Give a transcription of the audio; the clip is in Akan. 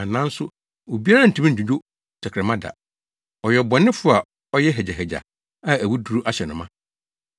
nanso obiara rentumi nnwudwo tɛkrɛma da. Ɔyɛ ɔbɔnefo a ɔyɛ hagyahagya a awuduru ahyɛ no ma.